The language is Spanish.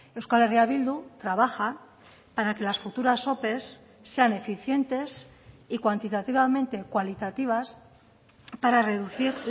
euskal herria bildu trabaja para que las futuras ope sean eficientes y cuantitativamente cualitativas para reducir